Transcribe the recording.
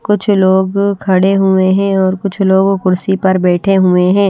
कुछ लोग खड़े हुए हैं और कुछ लोग कुर्सी पर बैठे हुए हैं।